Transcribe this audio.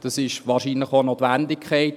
das ist wahrscheinlich auch notwendig.